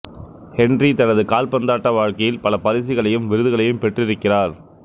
Henry தனது கால்பந்தாட்ட வாழ்க்கையில் பல பரிசுகளையும் விருதுகளையும் பெற்றிருக்கிறார்